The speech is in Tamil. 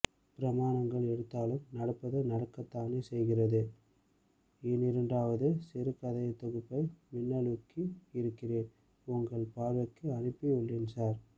பிரமாணங்கள் எடுத்தாலும் நடப்பது நடக்கத்தானே செய்கிறதுஎனிரண்டாவது சிறு கதைத் தொகுப்பை மின்னூலாக்கி இருக்கிறேன் உங்கள் பார்வைக்கும் அனுப்பி உள்ளேன் சார்